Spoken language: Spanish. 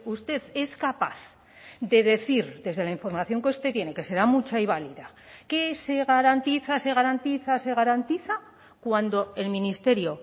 usted es capaz de decir desde la información que usted tiene que será mucha y válida que se garantiza se garantiza se garantiza cuando el ministerio